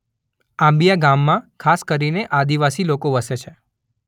આંબીયા ગામમાં ખાસ કરીને આદિવાસી લોકો વસે છે.